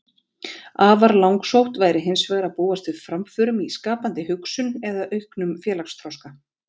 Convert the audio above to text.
Afar langsótt væri hins vegar að búast við framförum í skapandi hugsun eða auknum félagsþroska.